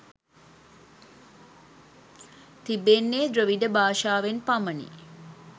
තිබෙන්නේ ද්‍රවිඩ භාෂාවෙන් පමණි